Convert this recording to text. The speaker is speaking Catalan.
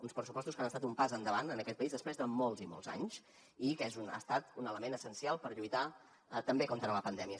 uns pressupostos que han estat un pas endavant en aquest país després de molts i molts anys i que ha estat un element essencial per lluitar també contra la pandèmia